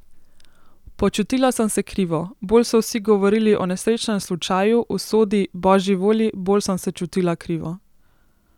Počutila sem se krivo, bolj so vsi govorili o nesrečnem slučaju, usodi, božji volji, bolj sem se čutila krivo.